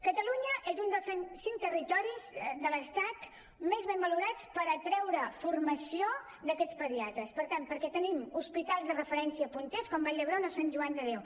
catalunya és un dels cinc territoris de l’estat més ben valorats per atreure formació d’aquests pediatres per tant perquè tenim hospitals de referència punters com vall d’hebron o sant joan de déu